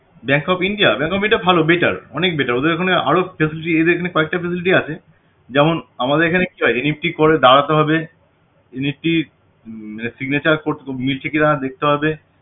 bank of India bank of India ভালো better অনেক better ওদের এখানে আরও যথেষ্ট ইয়ে দেয় কয়েকটা facility আছে যেমন আমাদের এখানে কি হয় NEFT করে দাঁড়াতে হবে NEFT signature মিলছে কিনা দেখতে হবে